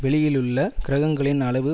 வெளியிலுள்ள கிரகங்களின் அளவு